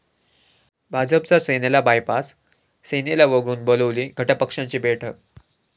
भाजपचा सेनेला बायपास, सेनेला वगळून बोलावली घटकपक्षांची बैठक